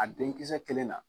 A denkisɛ kelen na